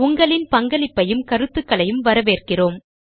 உங்களின் பங்களிப்பையும் கருத்துகளையும் வரவேற்கிறோம்